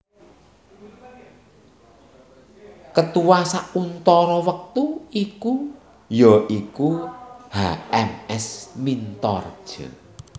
Ketua sauntara wektu iku ya iku H M S Mintaredja